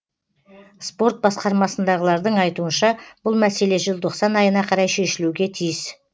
спорт басқармасындағылардың айтуынша бұл мәселе желтоқсан айына қарай шешілуге тиіс